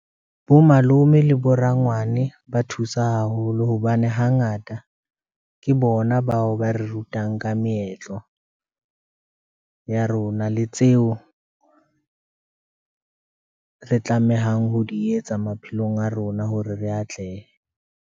Bo malome le bo rangwane ba thusa haholo hobane hangata ke bona bao ba re rutang ka meetlo ya rona le tseo re tlamehang ho di etsa maphelong a rona hore re atlehe.